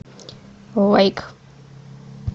лайк